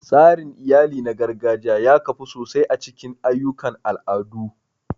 Tsarin iyali na gargajiya ya kafu sosai a cikin ayyukan al'adu.